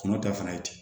Kungo ta fana ye ten